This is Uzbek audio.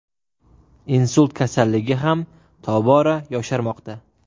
Insult kasalligi ham tobora yosharmoqda.